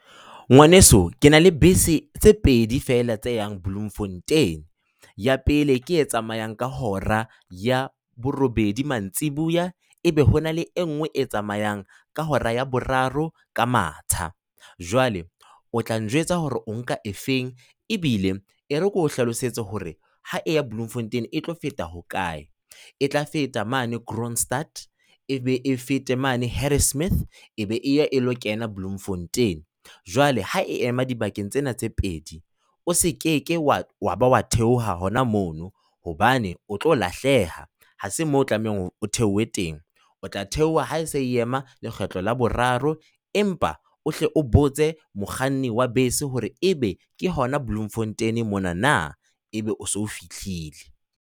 Ngwaneso, ke na le bese tse pedi fela tse yang Bloemfontein. Ya pele ke e tsamayang ka hora ya borobedi mantsibuya. Ebe ho na le nngwe e tsamayang ka hora ya boraro ka matsha. Jwale o tla njwetsa hore o nka e feng, ebile e re ke o hlalosetsa hore ha e ya Bloemfontein e tlo feta hokae, e tla feta mane Kroonstaad, e be e fete mane Harrismith, e be e ilo kena Bloemfontein. Jwale ha e ema dibakeng tsena tse pedi, o se ke wa ba wa theoha hona mono hobane o tlo lahleha. Ha se moo o tlamehang o theohe teng, o tla theoha, ha se ema lekgetlo la boraro empa o hle o botse mokganni wa bese hore e be ke hona Bloemfontein mona na, e be o se fihlile.